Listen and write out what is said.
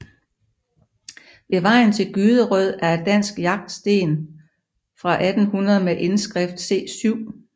Ved vejen til Gyderød er et dansk jagtsten fra 1800 med indskrift C 7